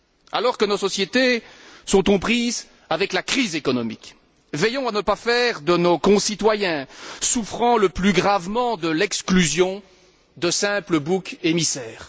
Alors que nos sociétés sont aux prises avec la crise économique, veillons à ne pas faire de nos concitoyens souffrant le plus gravement de l'exclusion de simples boucs émissaires.